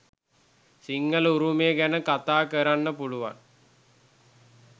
සිංහල උරුමය ගැන කතා කරන්න පුළුවන්.